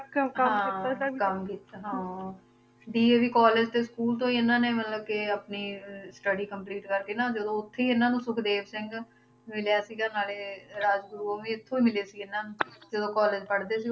DAV college ਤੇ school ਤੋਂ ਹੀ ਇਹਨਾਂ ਨੇ ਮਤਲਬ ਕਿ ਆਪਣੀ ਅਹ study complete ਕਰਕੇ ਨਾ ਜਦੋਂ ਉੱਥੇ ਹੀ ਇਹਨਾਂ ਨੂੰ ਸੁਖਦੇਵ ਸਿੰਘ ਮਿਲਿਆ ਸੀਗਾ ਨਾਲੇ ਰਾਜਗੁਰੂ ਉਹ ਵੀ ਇੱਥੋਂ ਹੀ ਮਿਲੇ ਸੀ ਇਹਨਾਂ ਨੂੰ ਜਦੋਂ college ਪੜ੍ਹਦੇ ਸੀ,